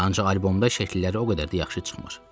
Ancaq albomda şəkilləri o qədər də yaxşı çıxmır.